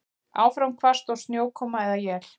Áfram hvasst og snjókoma eða él